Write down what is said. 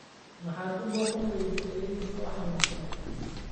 Maxaad u booqan weyden ayeeyadinaa oo xanunsaned